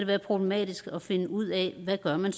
være problematisk at finde ud af hvad man